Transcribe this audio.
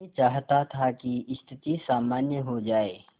मैं चाहता था कि स्थिति सामान्य हो जाए